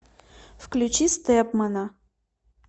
включи стэпмана